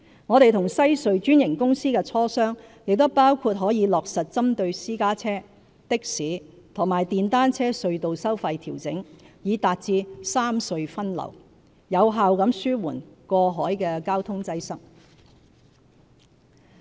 我們和西隧專營公司的磋商亦包括可以落實針對私家車、的士和電單車隧道收費調整，以達致三隧分流，有效地紓緩過海交通擠塞。